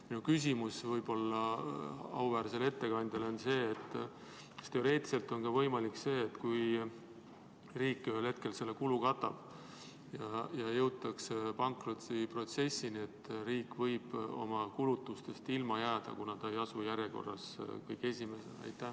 Minu küsimus auväärsele ettekandjale on see: kas teoreetiliselt on võimalik, et kui riik ühel hetkel selle kulu katab ja jõutakse pankrotiprotsessini, siis riik võib oma kulutuste katmisest ilma jääda, kuna ta ei ole järjekorras kõige esimene?